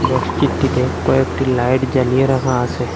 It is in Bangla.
মসজিদটিতে কয়েকটি লাইট জ্বালিয়ে রাখা আসে।